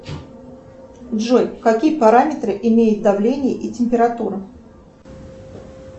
джой какие параметры имеет давление и температура